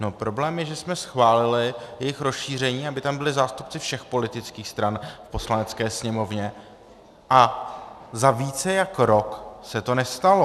No, problém je, že jsme schválili jejich rozšíření, aby tam byli zástupci všech politických stran v Poslanecké sněmovně, a za více než rok se to nestalo.